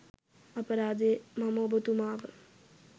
අපරාදේ මම ඔබතුමාව